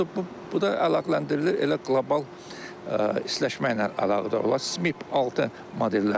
Bu da əlaqələndirilir elə qlobal istiləşmə ilə əlaqədar olan SMIP 6 modelləri var.